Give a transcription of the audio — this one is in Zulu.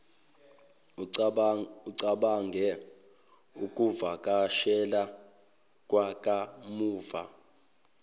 ucabange ukuvakashela kwakamuva